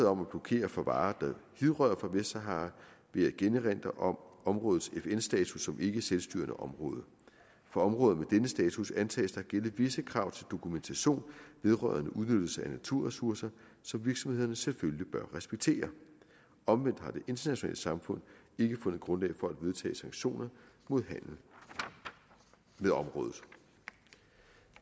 om at blokere for varer der hidrører fra vestsahara vil jeg igen erindre om områdets fn status som ikkeselvstyrende område for områder med denne status antages der at gælde visse krav til dokumentation vedrørende udnyttelse af naturressourcer som virksomhederne selvfølgelig bør respektere omvendt har det internationale samfund ikke fundet grundlag for at vedtage sanktioner mod handel med området